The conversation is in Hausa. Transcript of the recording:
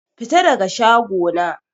Fita daga shago na!